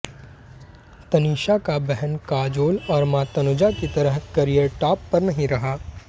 तनीषा का बहन काजोल और मां तनुजा की तरह करियर टाॅप पर नहीं रहा